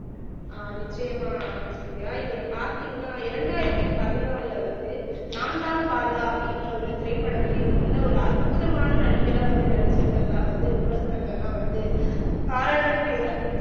ஆஹ் நிச்சயமா சந்தியா இவரை பாத்தீங்கன்னா இரண்டாயிரத்தி பதினாலுல வந்து நான்தான் பாலா அப்படின்ற ஒரு திரைப்படம் வெளி வந்ததுல ஒரு அற்புதமான நடிகரா வந்து நடிச்சிருக்கிறதா வந்து விமர்சனங்கள்லாம் வந்து பாராட்டக்கூடியதா